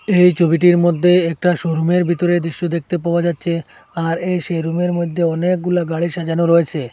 এই ছবিটির মদ্যে একটা শোরুম -এর বিতরের দৃশ্য দেখতে পাওয়া যাচচে আর এই সেই রুম -এর মদ্যে অনেকগুলা গাড়ি সাজানো রয়েছে।